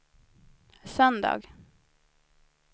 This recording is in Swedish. söndag